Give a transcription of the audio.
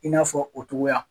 I n'a fɔ o togoya.